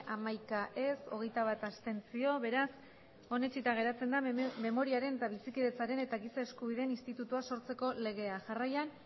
hamaika ez hogeita bat abstentzio beraz onetsita geratzen da memoriaren eta bizikidetzaren eta giza eskubideen institutua sortzeko legea jarraian